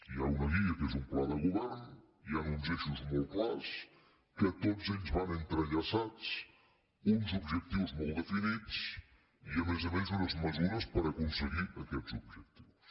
hi ha una guia que és un pla de govern hi han uns eixos molt clars que tots ells van entrellaçats uns objectius molt definits i a més a més unes mesures per aconseguir aquests objectius